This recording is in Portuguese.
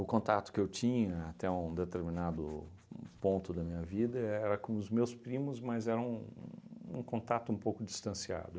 O contato que eu tinha até um determinado uhn ponto da minha vida era com os meus primos, mas era um contato um pouco distanciado.